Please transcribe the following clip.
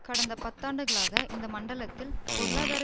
கடந்த பத்தாண்டுகளாக இந்த மண்டலத்தில் பொருளாதார